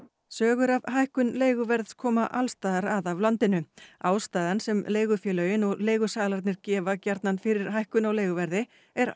sögur af hækkun leiguverðs koma alls staðar að af landinu ástæðan sem leigufélögin og leigusalarnir gefa gjarnan fyrir hækkun á leiguverði er